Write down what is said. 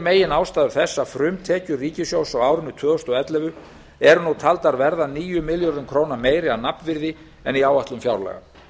meginástæður þess að frumtekjur ríkissjóðs á árinu tvö þúsund og ellefu eru nú taldar verða níu milljörðum króna meiri að nafnvirði en í áætlun fjárlaga